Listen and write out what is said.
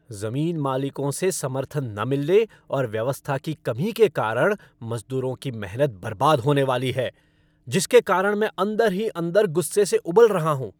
जमीन मालिकों से समर्थन न मिलने और व्यवस्था की कमी के कारण मजदूरों की मेहनत बर्बाद होने वाली है जिसके कारण मैं अंदर ही अंदर गुस्से से उबल रहा हूँ।